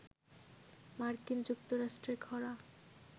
মার্কিন যুক্তরাষ্ট্রে খরা